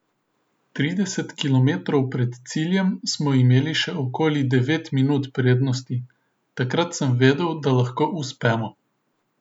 Trideset kilometrov pred ciljem smo imeli še okoli devet minut prednosti, takrat sem vedel, da lahko uspemo.